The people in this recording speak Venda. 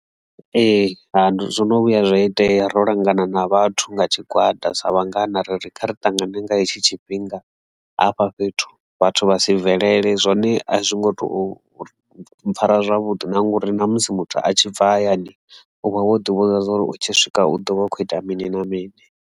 Ee, zwino vhuya zwa itea ro langana na vhathu nga tshigwada sa vhangana ri kha ri ṱangane nga hetshi tshifhinga hafha fhethu vhathu vha si bvelele zwone a zwi ngo to mpfhara zwavhuḓi na ngori na musi muthu a tshi bva hayani uvha wo ḓi vhudza zwori u tshi swika u ḓo vha a khou ita mini na mini.